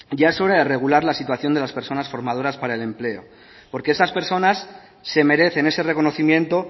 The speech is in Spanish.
ya es hora de regular la situación de las personas formadoras para el empleo porque estas personas se merecen ese reconocimiento